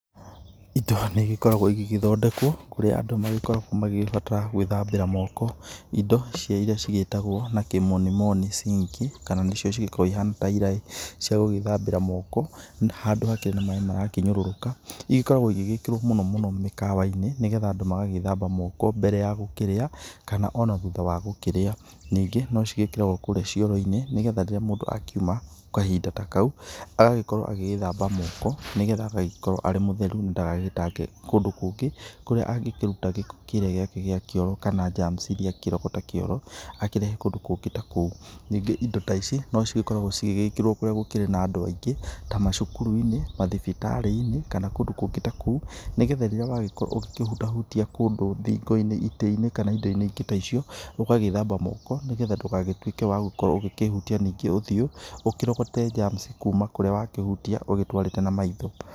Indo nĩ igĩkoragwo igĩgĩthondekwo kũrĩa andũ magĩkoragwo magĩgĩbatara gwĩthambĩra moko, indo irĩa cigĩtagwo na kimoni moni sink kana nacio cikoragwo ihana ta iraĩ cia gũgĩthambĩra moko handũ hakĩrĩ na maĩ marakĩnyũrũrũka, ĩgĩkoragwo ĩgĩkĩrwo mũno mũno mĩkawa-inĩ, nĩgetha andũ magagĩthamba moko mbere ya gũkĩrĩa kana ona thutha wagũkĩrĩa, ningĩ no cigĩkĩragwo kũrĩa cioro-inĩ, nĩgetha rĩrĩa mũndũ akĩuma kahinda ta kau agagĩkorwo agĩgĩthamba moko, nĩgetha agagĩkorwo arĩ mũtheru na ndagagĩtange kũndũ kũngĩ kũrĩa angĩkĩruta gĩko kĩrĩa gĩake gĩa kĩoro kana germs irĩa angĩrogota kĩoro akĩrehe kũndũ kũngĩ ta kũu, ningĩ indo ta ici no cigĩkoragwo cigĩgĩkĩrwo kũrĩa gũkĩrĩ na andũ aingĩ ta macukuru-inĩ, mathibitarĩ-inĩ, kana kũndũ kũngĩ ta kũu, nĩgetha rĩrĩa wagĩkorwo ũgĩkĩhutahutia kũndũ, thingo-inĩ, itĩ-inĩ, kana indo ingĩ ta icio, ũgagĩthamba moko nĩgetha ndũgagĩtuĩke wa gũkorwo ũkĩhutia ũthio, ũkĩrogote germs kuma kũrĩa wakĩhutia ũgĩtwarĩte na maitho.